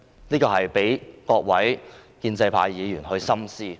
這個問題有待各位建制派議員深思。